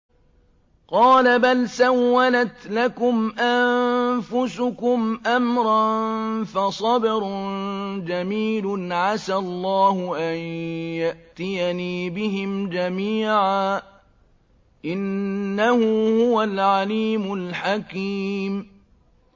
قَالَ بَلْ سَوَّلَتْ لَكُمْ أَنفُسُكُمْ أَمْرًا ۖ فَصَبْرٌ جَمِيلٌ ۖ عَسَى اللَّهُ أَن يَأْتِيَنِي بِهِمْ جَمِيعًا ۚ إِنَّهُ هُوَ الْعَلِيمُ الْحَكِيمُ